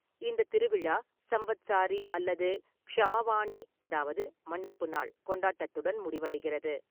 இந்தத் திருவிழா சம்வத்சாரி அல்லது க்ஷமவானி அதாவது மன்னிப்பு நாள் கொண்டாட்டத்துடன் முடிவடைகிறது.